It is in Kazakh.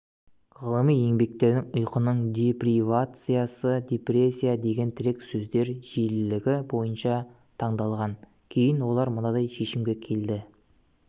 ғылыми еңбектер ұйқының депривациясы депрессия деген тірек сөздер жиілігі бойынша таңдалған кейін олар мынадай шешімге келді